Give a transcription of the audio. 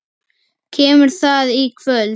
Kemur það í kvöld?